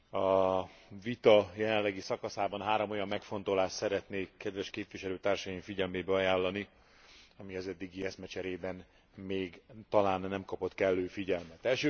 A vita jelenlegi szakaszában három olyan megfontolást szeretnék kedves képviselőtársaim figyelmébe ajánlani, ami az eddigi eszmecserében még talán nem kapott kellő figyelmet.